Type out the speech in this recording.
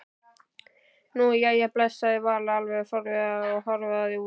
Nú, jæja bless sagði Vala alveg forviða og hörfaði út.